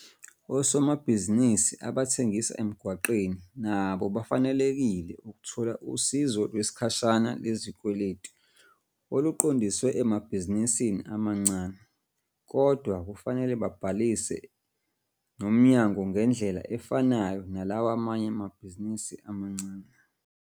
Osomabhizinisi abathengisa emgwaqeni nabo bafanelekile ukuthola Usizo Lwesikhwama Lwezikweletu oluqondiswe emabhizinisini amancane kodwa kufanele babhalise nomnyangongendlela efanayo nalawa amanye amabhizinisi amancane.